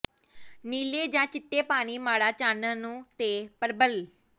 ਨੀਲੇ ਜ ਚਿੱਟੇ ਪਾਣੀ ਮਾੜਾ ਚਾਨਣ ਨੂੰ ਤੇ ਪਰਬਲ